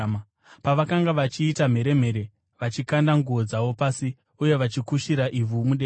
Pavakanga vachiita mheremhere vachikanda nguo dzavo pasi, uye vachikushira ivhu mudenga,